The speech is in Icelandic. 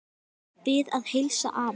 Bið að heilsa afa.